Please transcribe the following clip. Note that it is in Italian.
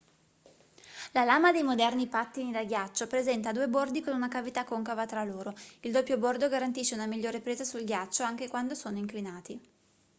la lama dei moderni pattini da ghiaccio presenta due bordi con una cavità concava tra loro il doppio bordo garantisce una migliore presa sul ghiaccio anche quando sono inclinati